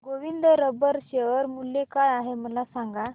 Govind rubber share मूल्य काय आहे मला सांगा